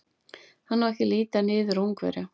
Hann á ekki að líta niður á Ungverja.